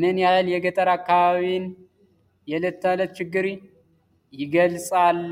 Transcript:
ምን ያህል የገጠር አካባቢን የዕለት ተዕለት ችግር ይገልጻል?